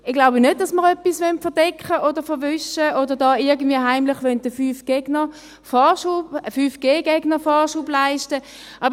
Ich glaube nicht, dass wir etwas verdecken oder verwischen wollen oder den 5GGegnern irgendwie heimlich Vorschub leisten wollen.